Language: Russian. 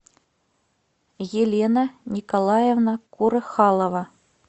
елена николаевна курыхалова